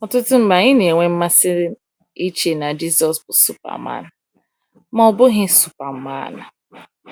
Ọtụtụ mgbe anyị na-enwe mmasị iche na Jisọs bụ Superman, ma Ọ bụghị Superman.